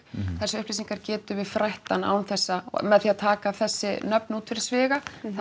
þessar upplýsingar getum við frætt hann án þess að með því að taka þessi nöfn úr fyrir sviga það